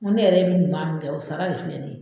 Ko ne yɛrɛ bi ɲuman min kɛ o sara de filɛ nin ye